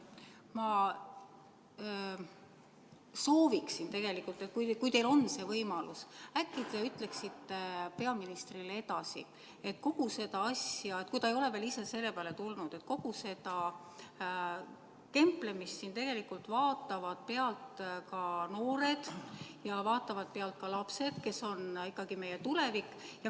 Ma sooviksin, et kui teil on see võimalus, äkki te ütleksite peaministrile edasi, kui ta ei ole veel ise selle peale tulnud, et kogu seda kemplemist siin vaatavad pealt ka noored ja vaatavad pealt lapsed, kes on ikkagi meie tulevik.